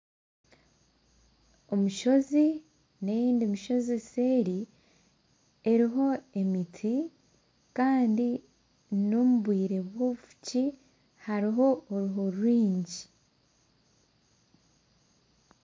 Omushozi nendiijo mishozi seeri eriho emiti Kandi n'omu bwire bw'obufuki hariho oruho rwingi.